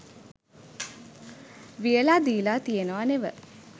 වියලා දීලා තියෙනවා නෙව